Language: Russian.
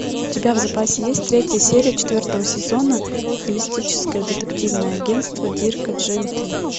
у тебя в запасе есть третья серия четвертого сезона холистическое детективное агентство дирка джентли